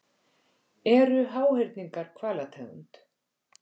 Eru háhyrningar hvalategund?